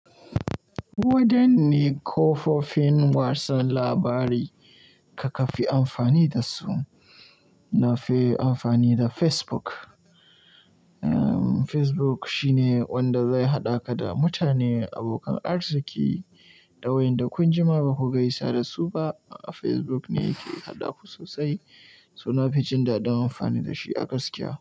Wadanne kafofin watsa labarai kuka fi amfani da su? Na fi amfani da Facebook. Facebook shine wanda zai haɗa ka da mutane, abokan arziki da wayanda kun jima ba ku gaisa da su ba. Facebook ne yake haɗa ku sosai, so nafi jin dadin amfani da shi a gaskiya.